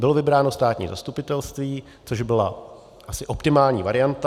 Bylo vybráno státní zastupitelství, což asi byla optimální varianta.